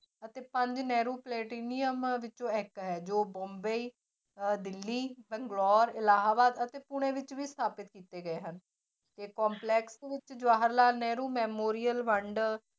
ਅਤੇ ਪੰਜ ਨਹਿਰੂ platinum ਵਿੱਚੋਂ ਇੱਕ ਹੈ ਜੋ ਮੁੰਬਈ ਅਹ ਦਿੱਲੀ ਬੰਗਲੋਰ ਇਲਾਹਾਬਾਦ ਅਤੇ ਪੂੰਨੇ ਵਿੱਚ ਵੀ ਸਥਾਪਿਤ ਕੀਤੇ ਗਏ ਹਨ ਤੇ ਵਿੱਚ ਜਵਾਹਰ ਲਾਲ ਨਹਿਰੂ memorial ਵੰਡ